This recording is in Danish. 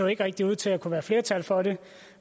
ikke rigtig ud til at kunne være flertal for det